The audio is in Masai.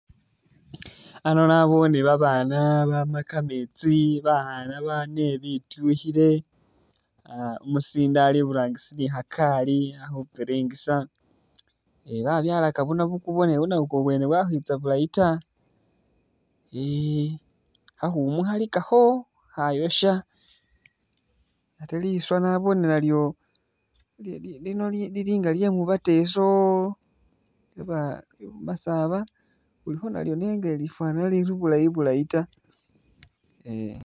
Ano nabone babana bama kametsi bakhana bane bitukhile ah umusinde ali iburangisi nikhakali akhupiringisa e babyalaka bunabukubo ne bunabukubo bwene bwakwitsa bulayi ta -e khakhumu khalikakho khayosha ate liswa nabone nalyo lino lilinga lyemuba teso yaba bamasaba khulikho nalyo nenga ilifanana liryo ta